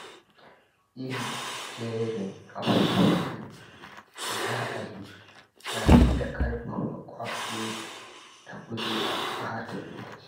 Yin jerin abubuwan da za a yi na iya ƙarfafa kwazo da gujewa ɓata lokaci.